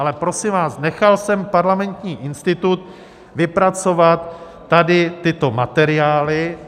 Ale prosím vás, nechal jsem Parlamentní institut vypracovat tady tyto materiály.